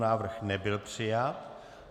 Návrh nebyl přijat.